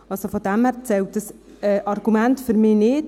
Daher zählt dieses Argument für mich nicht.